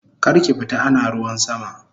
Karki fita ana ruwan sama!